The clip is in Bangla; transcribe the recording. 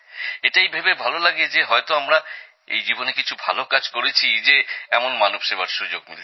এটাই ভেবে ভালো লাগে যে হয়তো আমরা এই জীবনে কিছু ভাল কাজ করেছি যে এমন মানব সেবার সুযোগ মিলেছে